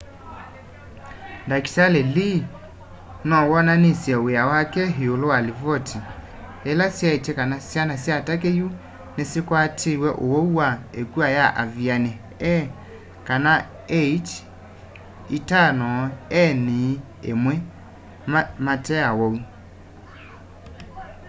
ndakitali lee no wonanisye w'ia wake iulu wa livoti ila syaitye kana syana sya turkey yu nisikwatitw'e ũwau wa ĩkua ya avian a h5n1 mate awau